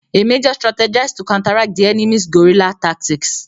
A major strategized to counteract the enemy's guerilla tactics.